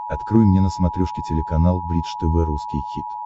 открой мне на смотрешке телеканал бридж тв русский хит